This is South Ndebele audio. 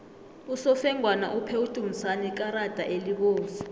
usofengwana uphe udumisani ikarada elibovu